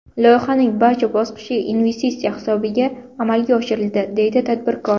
Loyihaning barcha bosqichi investitsiya hisobiga amalga oshiriladi”, deydi tadbirkor.